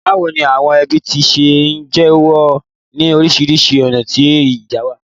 Bàwoni àwon ẹbí ti se n jeyo ni orísìrísi ọ̀nà ni ìgbà yìí?